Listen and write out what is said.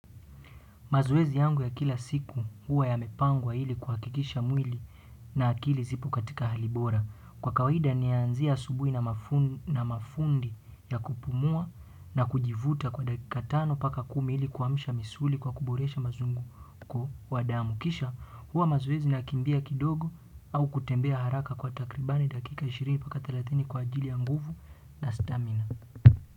Mazoezi yangu ya kila siku huwa yamepangwa ilikuhakikisha mwili na akili ziko katika hali bora kwa kawaida nayaanzia asubuhi na mafundi ya kupumua na kujivuta kwa dakika tano mpaka kumi ili kuamsha misuli kwa kuboresha mazunguko kwa damu. Kisha huwa mazoezi nakimbia kidogo au kutembea haraka kwa takribani dakika ishirini mpaka thelathini kwa ajili ya nguvu au stamina.